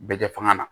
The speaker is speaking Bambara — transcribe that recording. Bɛɛ kɛ fanga na